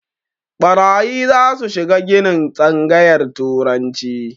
Ɓarayi zasu shiga ginin tsangayar turanci